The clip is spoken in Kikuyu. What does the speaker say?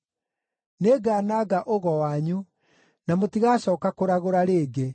Nĩngananga ũgo wanyu, na mũtigacooka kũragũra rĩngĩ.